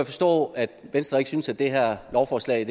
forstå at venstre ikke synes at det her lovforslag